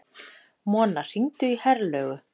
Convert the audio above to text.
Mona, hringdu í Herlaugu.